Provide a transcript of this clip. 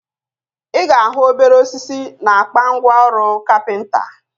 Ị ga ahụ obere osisi na akpa ngwa ọrụ kapịnta